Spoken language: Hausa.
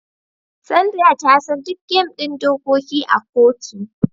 Sandra ta san duk game da dokoki a kotu.